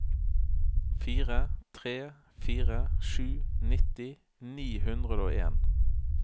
fire tre fire sju nitti ni hundre og en